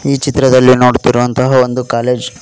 ಈ ಚಿತ್ರದಲ್ಲಿ ನೋಡುತ್ತಿರುವಂತಹ ಒಂದು ಕಾಲೇಜ್ .